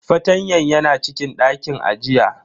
Fartanyan yana cikin dakin ajiya.